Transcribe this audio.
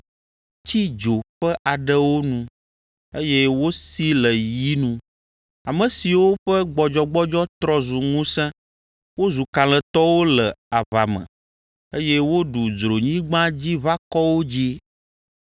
tsi dzo ƒe aɖewo nu, eye wosi le yi nu, ame siwo ƒe gbɔdzɔgbɔdzɔ trɔ zu ŋusẽ, wozu kalẽtɔwo le aʋa me, eye woɖu dzronyigbadziʋakɔwo dzi.